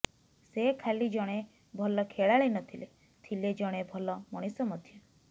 ସେ ଖାଲି ଜଣେ ଭଲ ଖେଳାଳୀ ନ ଥିଲେ ଥିଲେ ଜଣେ ଭଲ ମଣିଷ ମଧ୍ୟ